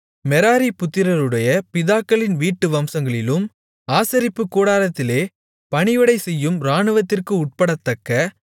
Merari புத்திரருடைய பிதாக்களின் வீட்டு வம்சங்களிலும் ஆசரிப்புக் கூடாரத்திலே பணிவிடை செய்யும் இராணுவத்திற்கு உட்படத்தக்க